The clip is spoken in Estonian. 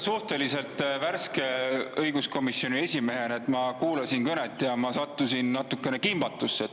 Suhteliselt värske õiguskomisjoni esimehena ma kuulasin kõnet ja sattusin natukene kimbatusse.